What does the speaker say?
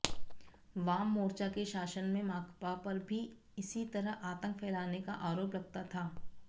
वाममोर्चा के शासन में माकपा पर भी इसी तरह आतंक फैलाने का आरोप लगता था